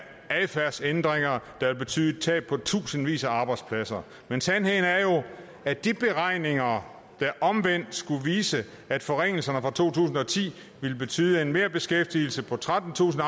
adfærdsændringer der vil betyde et tab af tusindvis af arbejdspladser sandheden er jo at de beregninger der omvendt skulle vise at forringelserne fra to tusind og ti ville betyde en merbeskæftigelse på trettentusind